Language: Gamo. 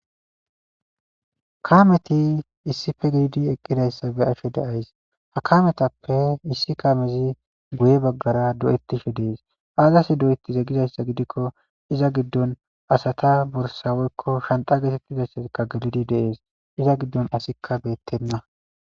Kaameti issippe de'idi eqqidaaga be'ashe de'ays. Ha kaametappe issi kaamezi goye bagara doyetishe des. Azaasi doyetide gizayssa gidikko iza gidon asata borssa woykko hanxxa geetetizayssi gididi de'eees. Iza gidon asikka beeteena.